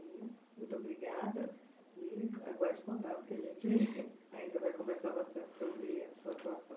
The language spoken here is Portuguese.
Muito obrigada e aguarde o contato que a gente ainda vai conversar bastante sobre a sua atuação.